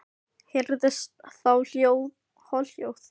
Heyrðist þá holhljóð og ropi og hvarf þjórinn.